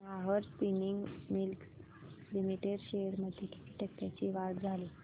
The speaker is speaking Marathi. Nahar spinning mills limited shares मध्ये किती टक्क्यांची वाढ झाली